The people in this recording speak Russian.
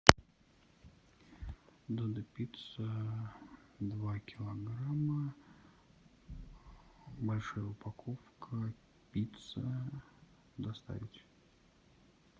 додо пицца два килограмма большая упаковка пицца доставить